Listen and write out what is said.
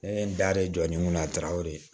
Ne ye n da jɔ ni n kunna a taara o de ye